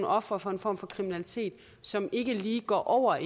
ofre for en form for kriminalitet som ikke lige går over